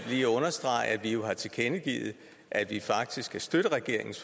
lige understrege at vi jo har tilkendegivet at vi faktisk kan støtte regeringens